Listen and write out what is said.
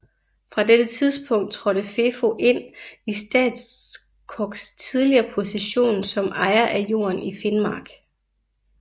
Fra dette tidspunktet trådte FeFo ind i Statskogs tidligere position som ejer af jorden i Finnmark